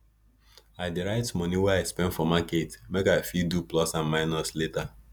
i dey write moni wey i spend for market make i fit do plus and minus later